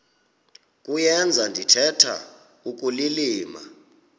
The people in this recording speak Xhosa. kuyenza ndithetha ukulilima